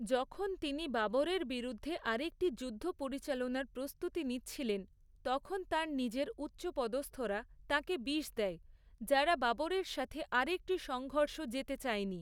যখন তিনি বাবরের বিরুদ্ধে আরেকটি যুদ্ধ পরিচালনার প্রস্তুতি নিচ্ছিলেন, তখন তাঁর নিজের উচ্চপদস্থরা তাঁকে বিষ দেয়, যারা বাবরের সাথে আর একটি সংঘর্ষ যেতে চায়নি।